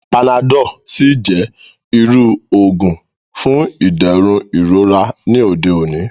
Panadọ́l sì jẹ́ irú òògùn fún ìdẹ̀rùn ìrora ní òde òní